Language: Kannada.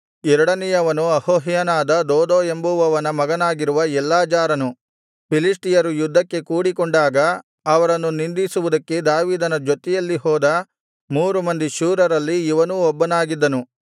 ಎರಡನೆಯವನು ಅಹೋಹ್ಯನಾದ ದೋದೋ ಎಂಬುವವನ ಮಗನಾಗಿರುವ ಎಲ್ಲಾಜಾರನು ಫಿಲಿಷ್ಟಿಯರು ಯುದ್ಧಕ್ಕೆ ಕೂಡಿಕೊಂಡಾಗ ಅವರನ್ನು ನಿಂದಿಸುವುದಕ್ಕೆ ದಾವೀದನ ಜೊತೆಯಲ್ಲಿ ಹೋದ ಮೂರು ಮಂದಿ ಶೂರರಲ್ಲಿ ಇವನೂ ಒಬ್ಬನಾಗಿದ್ದನು